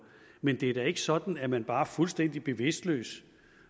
men det er da ikke sådan at man bare fuldstændig bevidstløst